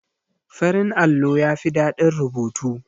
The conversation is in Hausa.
Farin allo yafi ɗadin rubutu.